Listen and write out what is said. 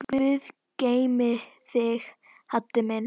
Guð geymi þig, Haddi minn.